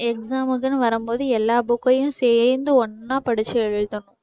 exam க்குன்னு வரும் போது எல்லா book யும் சேர்ந்து ஒண்ணா படிச்சு எழுதுணும்